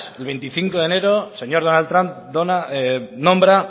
veinticinco de enero el señor donald trump nombra